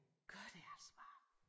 Gør det altså bare